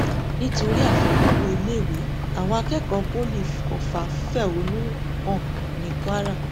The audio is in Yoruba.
nítorí àfikún owó iléèwé àwọn akẹkọọ poli ọfà fẹhónú hàn ní kwara